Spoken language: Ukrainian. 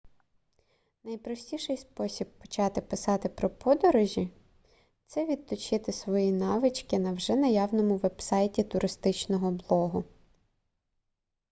найпростіший спосіб почати писати про подорожі це відточити свої навички на вже наявному вебсайті туристичного блогу